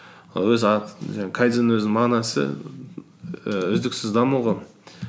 і жаңағы кайдзеннің өзінің мағынасы ііі үздіксіз даму ғой